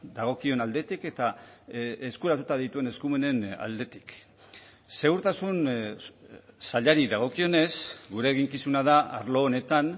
dagokion aldetik eta eskuratuta dituen eskumenen aldetik segurtasun sailari dagokionez gure eginkizuna da arlo honetan